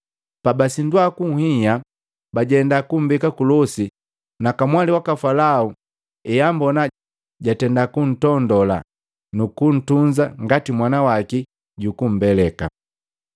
Pabasindwa kunhia, bajenda kumbeka kulosi na kamwali waka Falao heambona jatenda kuntondola nukuntunza ngati mwana waki jukumbeleka.